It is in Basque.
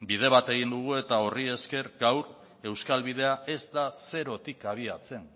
bide bat egin dugu eta horri esker gaur euskal bidea ez da zerotik abiatzen